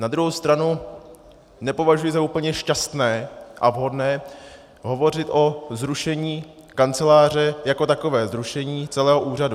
Na druhou stranu nepovažuji za úplně šťastné a vhodné hovořit o zrušení kanceláře jako takové, zrušení celého úřadu.